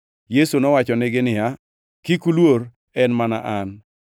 Yesu nowachonegi niya, “Kik uluor, en mana An.”